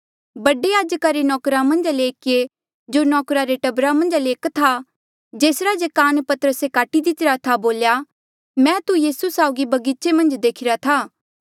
बडे याजका रे नौकर मन्झा ले एकिये जो नौकरा रे टब्बरा मन्झा ले एक था जेसरा जे कान पतरसे काटी दितिरा था बोल्या मैं तू यीसू साउगी बगीचे मन्झ देखीरा था